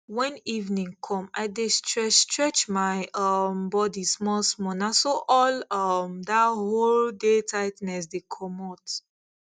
when evening come i dey stretchstretch my um body smallsmall na so all um dat whole day tightness the commot